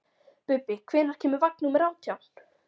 Bubbi, hvenær kemur vagn númer átján?